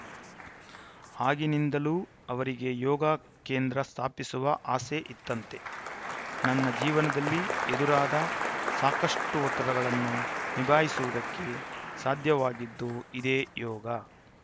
ಆಗಿನಿಂದಲೂ ಅವರಿಗೆ ಯೋಗ ಕೇಂದ್ರ ಸ್ಥಾಪಿಸುವ ಆಸೆ ಇತ್ತಂತೆ ನನ್ನ ಜೀವನದಲ್ಲಿ ಎದುರಾದ ಸಾಕಷ್ಟುಒತ್ತಡಗಳನ್ನು ನಿಭಾಯಿಸುವುದಕ್ಕೆ ಸಾಧ್ಯವಾಗಿದ್ದು ಇದೇ ಯೋಗ